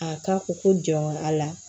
A ka ko ko jɔn a la